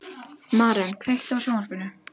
Maren, kveiktu á sjónvarpinu.